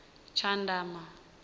tshandama